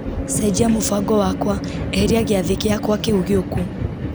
cenjia mũbango wakwa eheria gĩathĩ gĩakwa kĩu gĩuku